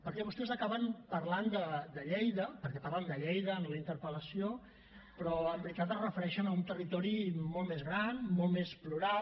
perquè vostès acaben parlant de lleida perquè parlen de lleida en la interpel·lació però en veritat es refereixen a un territori molt més gran molt més plural